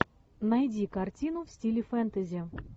найди картину в стиле фэнтези